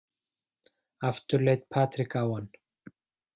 Aftur leit Patrik á hann.